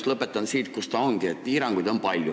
Te lõpetasite sellega, mis see oligi, et piiranguid on palju.